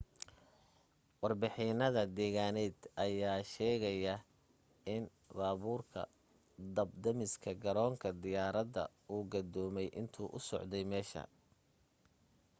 warbixinada deegaaneed ayaa sheegaayo in baabuurka dab damiska garoonka diyaarada uu gadoomay intuu u socday meesha